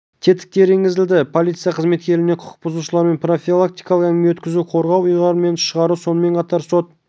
тетіктері енгізілді полиция қызметкерлеріне құқық бұзушылармен профилактикалық әңгіме өткізу қорғау ұйғарымын шығару сонымен қатар сот